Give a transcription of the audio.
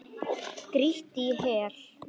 Grýttir í hel.